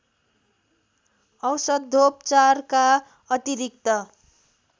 औषधोपचारका अतिरिक्त